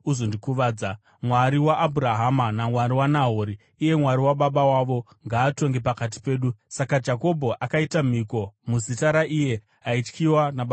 Mwari waAbhurahama naMwari waNahori, iye Mwari wababa vavo, ngaatonge pakati pedu.” Saka Jakobho akaita mhiko muzita raiye aityiwa nababa vake Isaka.